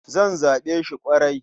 Zan zaɓe shi ƙwarai.